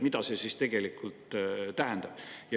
Mida see siis tegelikult tähendab?